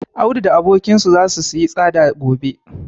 Audu da abokinsa zasu siyi tsada gobe.